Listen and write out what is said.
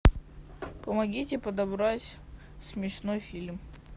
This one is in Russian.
помогите подобрать смешной фильм